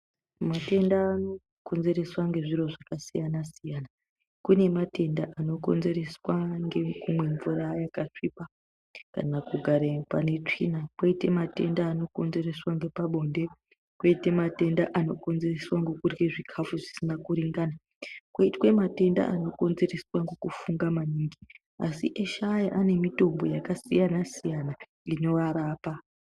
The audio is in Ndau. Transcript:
Matenda anokonzereswa ngezviro zvakasiyana-siyana. Kune matenda anokonzereswa ngekumwe mvura yakasvipa kana kugare pane tsvina. Koite matenda anokonzereswa ngepabonde. Koite matenda anokonzereswa ngokurye zvikafu zvisina kuringana. Koitwe matenda anokonzereswa ngokufunga maningi. Asi eshe aya anemitombo yakasiyana-siyana inoarapa.